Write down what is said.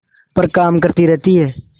पर काम करती रहती है